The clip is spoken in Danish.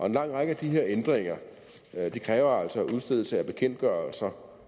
en lang række af de her ændringer kræver altså udstedelse af bekendtgørelser